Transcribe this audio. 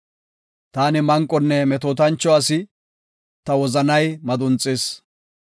Taani manqonne metootancho asi; ta wozanay madunxis.